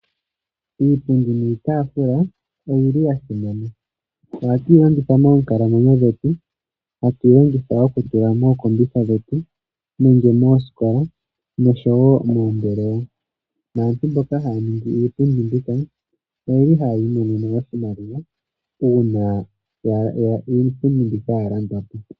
Iipundi niitaafula oyi li ya simana. Ohatu yi longitha moonkalamwenyo dhetu, hatu i longitha okutula mookombitha dhetu nenge moosikola nosho wo moombelewa. Naantu mboka haya ningi iipundi mbika oye li haya imonene oshimaliwa uuna iipundi mbika ya landwa po.